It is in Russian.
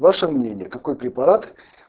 ваше мнение какой препарат